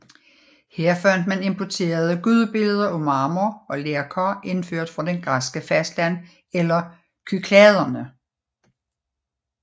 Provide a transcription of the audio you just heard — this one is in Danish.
Her fandt man importerede gudebilleder af marmor og lerkar indført fra det græske fastland eller Kykladerne